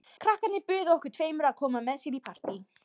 Krakkarnir buðu okkur tveimur að koma með sér í partí.